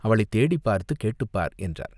அவளைத் தேடிப் பார்த்துக் கேட்டுப் பார்!" என்றார்.